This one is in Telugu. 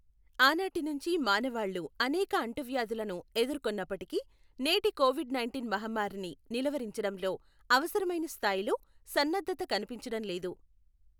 ఆనాటినుంచీ మానవాళ్ళు అనేక అంటువ్యాధులను ఎదుర్కొన్నప్పటికీ, నేటి కోవిడ్ నైంటీన్ మహమ్మారిని నిలువరించడంలో అవసరమైన స్థాయిలో సన్నద్ధత కనిపించడం లేదు.